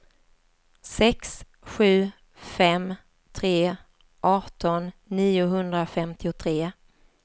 sex sju fem tre arton niohundrafemtiotre